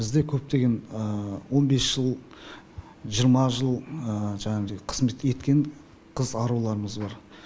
бізде көптеген он бес жыл жиырма жыл жаңегідей қызмет еткен қыз аруларымыз бар